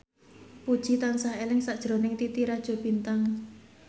Puji tansah eling sakjroning Titi Rajo Bintang